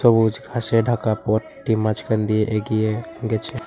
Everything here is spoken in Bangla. সবুজ ঘাসে ঢাকা পথটি মাঝখান দিয়ে এগিয়ে গেছে।